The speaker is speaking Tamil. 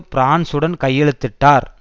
பிரான்ஸுடன் கையெழுத்திட்டார்